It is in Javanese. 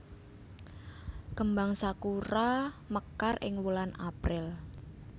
Kembang sakura mekar ing wulan April